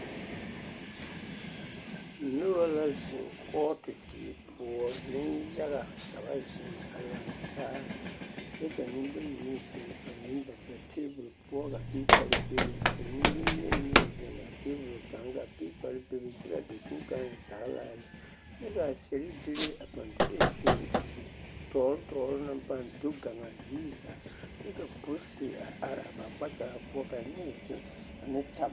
Noba la zeŋ kɔɔte die poɔ neŋyaga ka ba zeŋ a lantaa kyɛ ka nembayi meŋ zeŋ ane ba teebol poɔ ka piipare bebe ka nembonyeni meŋ zeŋ a teebol kaŋ ka piipare bebe kyɛ k'a dakogi kaŋ zagelaa lɛ, kyɛ k'a sɛredire a pãã do te zeŋ a zitɔɔre tɔɔre naŋ pãã do gaŋ a ziiri zaa kyɛ ka polisi a are a ba kpakyaga poɔ ka neɛ zeŋ ane tab